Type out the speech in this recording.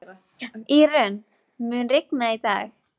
Írunn, mun rigna í dag?